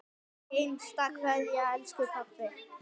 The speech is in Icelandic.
HINSTA KVEÐJA Elsku pabbi.